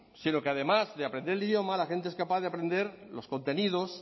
sino que además de aprender el idioma la gente es capaz de aprender los contenidos